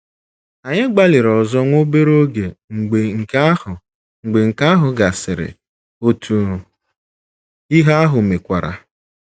Anyị gbalịrị ọzọ nwa obere oge mgbe nke ahụ mgbe nke ahụ gasịrị, otu ihe ahụ mekwara.